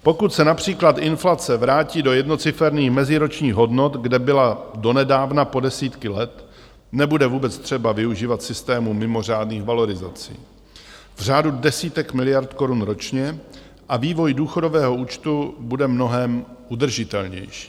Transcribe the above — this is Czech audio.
Pokud se například inflace vrátí do jednociferných meziročních hodnot, kde byla donedávna po desítky let, nebude vůbec třeba využívat systému mimořádných valorizací v řádu desítek miliard korun ročně a vývoj důchodového účtu bude mnohem udržitelnější.